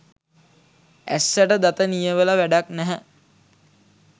ඇස්සට දත නියවල වැඩක් නැහැ.